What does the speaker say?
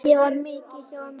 Ég var mikið hjá ömmu.